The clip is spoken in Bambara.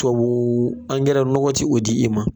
Tubabu angɛrɛ nɔgɔ ti o di i ma.